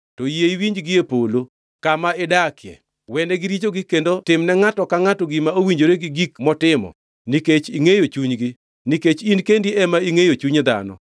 to yie iwinji gie polo, kama idakie. Wenegi richogi kendo tim ne ngʼato ka ngʼato gima owinjore gi gik motimo nikech ingʼeyo chunygi (nikech in kendi ema ingʼeyo chuny dhano),